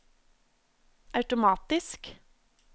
automatisk